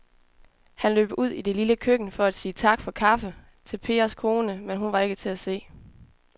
Han løb ud i det lille køkken for at sige tak for kaffe til Pers kone, men hun var ikke til at se.